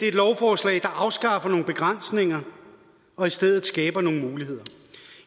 et lovforslag der afskaffer nogle begrænsninger og i stedet skaber nogle muligheder